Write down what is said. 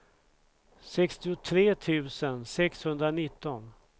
sextiotre tusen sexhundranitton